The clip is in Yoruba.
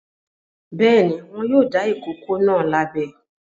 Bẹ́ẹ̀ ni, wọn yóò dá ìkókó náà lábẹ.